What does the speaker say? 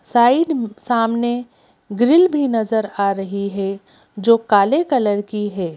Side सामने grill भी नजर आ रही हैं जो काले कलर की हैं।